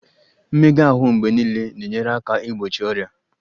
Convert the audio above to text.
Mmega ahụ mgbe niile na-enyere aka igbochi ọrịa